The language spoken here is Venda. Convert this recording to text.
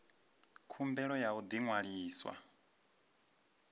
khumbelo ya u ḓi ṅwalisa